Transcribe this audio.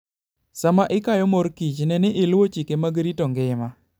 Sama ikayo morkich ne ni iluwo chike mag rito ngima.